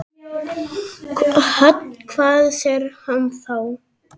Hödd: Hvað segir hann þá?